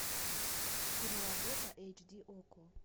киноработа эйч ди окко